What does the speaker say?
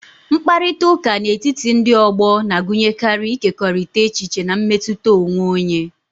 Mkparịta ụka n'etiti ndị ọgbọ na-agụnyekarị ịkekọrịta echiche na mmetụta onwe onye.